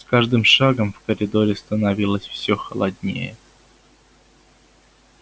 с каждым шагом в коридоре становилось все холоднее